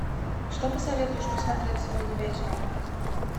что посоветуешь посмотреть сегодня вечером